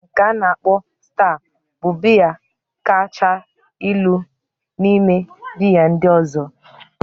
Mmanya biya nke a na-akpo sta bụ biya kacha ilu n'ime biya ndị ọzọ